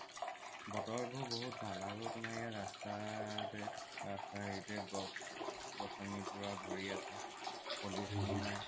বতৰবোৰ বহুত ভাল আৰু তোমাৰ ইয়াৰ ৰাস্তাৰ হেৰিতে পোৰা গছ গচনি ভৰি আছে pollution য়ো নাই